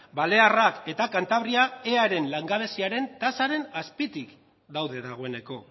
balearrak eta kantabria eaeren langabeziaren tasaren azpitik daude dagoeneko